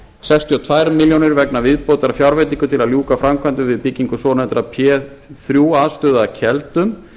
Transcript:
sextíu og tvær milljónir vegna viðbótarfjárveitingu til að ljúka framkvæmdum við byggingu svonefndrar p þrjú aðstöðu að keldum